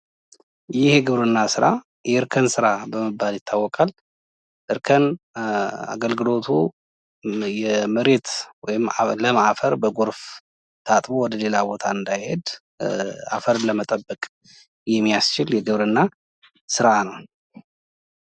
ይህ የግብርና ስራ የእርከን ስራ በመባል ይታወቃል። እርከን አገልግሎቱ የመሬት ወይም ለም አፈር በግርፍ ታጥቦ ወደሌላ ቦታ እንዳሄድ አፈርን ለመጠበቅ የሚያስችል የግብርና ስራ ነው።